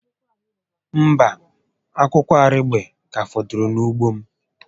Mba, akwụkwọ arigbe ka fọdụrụ na ugbo m